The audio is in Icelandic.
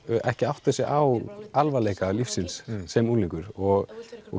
ekki átta sig á alvarleika lífsins sem unglingur og